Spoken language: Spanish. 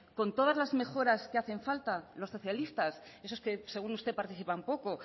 con todas las mejoras que hacen falta los socialistas esos que según usted participan poco